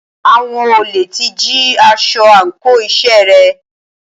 Àwọn olè ti jí aṣọ àńkò iṣẹ́ rẹ̀.